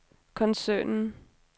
koncernen